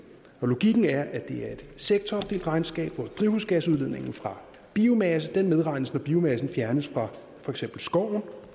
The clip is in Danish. og logikken er at det er et sektoropdelt regnskab hvor drivhusgasudledningen fra biomasse medregnes når biomassen fjernes fra for eksempel skoven